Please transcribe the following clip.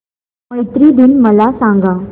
मैत्री दिन मला सांगा